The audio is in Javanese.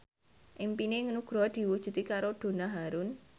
impine Nugroho diwujudke karo Donna Harun